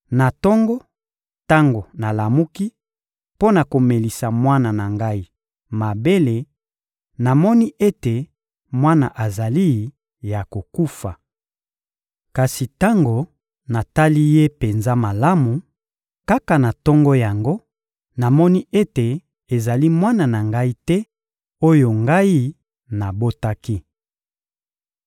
Na tongo, tango nalamuki mpo na komelisa mwana na ngai mabele, namoni ete mwana azali ya kokufa. Kasi tango natali ye penza malamu, kaka na tongo yango, namoni ete ezali mwana na ngai te, oyo ngai nabotaki!